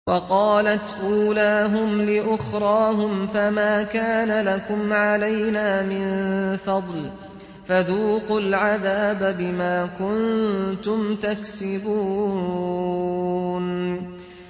وَقَالَتْ أُولَاهُمْ لِأُخْرَاهُمْ فَمَا كَانَ لَكُمْ عَلَيْنَا مِن فَضْلٍ فَذُوقُوا الْعَذَابَ بِمَا كُنتُمْ تَكْسِبُونَ